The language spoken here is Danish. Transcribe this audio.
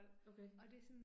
Okay